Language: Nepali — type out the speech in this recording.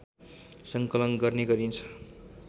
सङ्कलन गर्ने गरिन्छ